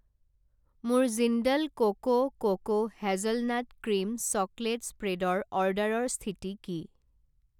মোৰ Jindal cocoa cocoa hazelnut cream chocolate spread ৰ অৰ্ডাৰৰ স্থিতি কি?